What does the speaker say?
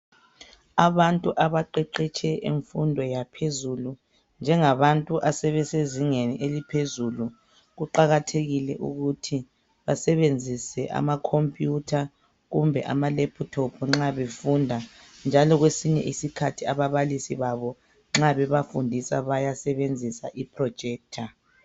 Abantu abaqeqetshe imfundo yaphezulu ,njengabantu asebesezingeni eliphezulu kuqakathekile ukuthi basebenzise amakompuyutha kumbe ama lephuthophu nxa befunda njalo kwesinye isikhathi ababalisi babo nxa bebafundisa bayasebenzisa iprojector.